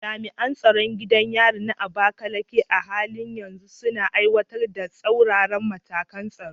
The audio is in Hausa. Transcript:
Jami’an tsaron gidan yarin na Abakaleke a halin yanzu suna aiwatar da tsauraran matakan tsaro.